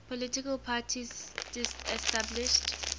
political parties disestablished